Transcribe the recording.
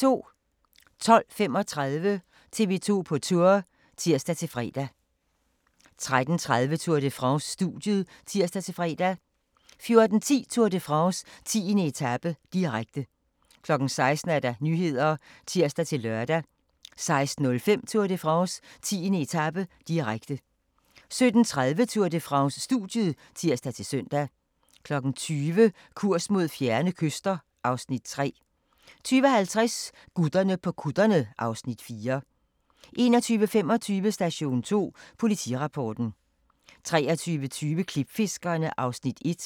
12:35: TV 2 på Tour (tir-fre) 13:30: Tour de France: Studiet (tir-fre) 14:10: Tour de France: 10. etape, direkte 16:00: Nyhederne (tir-lør) 16:05: Tour de France: 10. etape, direkte 17:30: Tour de France: Studiet (tir-søn) 20:00: Kurs mod fjerne kyster (Afs. 3) 20:50: Gutterne på kutterne (Afs. 4) 21:25: Station 2 Politirapporten 23:20: Klipfiskerne (Afs. 1)